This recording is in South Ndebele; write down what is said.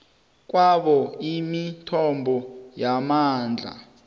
kwabo imithombo yamandla